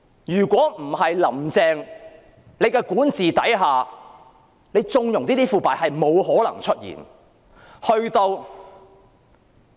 如果不是在"林鄭"的管治下加以縱容，這些腐敗是絕對不可能出現的。